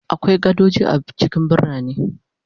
Akwai gadoji a cikin birane